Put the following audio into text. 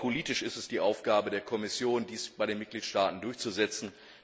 Aber politisch ist es die Aufgabe der Kommission, dies bei den Mitgliedstaaten durchzusetzen.